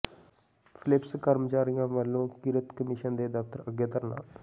Philips ਕਰਮਚਾਰੀਆਂ ਵੱਲੋਂ ਕਿਰਤ ਕਮਿਸ਼ਨ ਦੇ ਦਫ਼ਤਰ ਅੱਗੇ ਧਰਨਾ